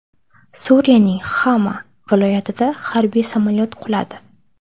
Suriyaning Xama viloyatida harbiy samolyot quladi.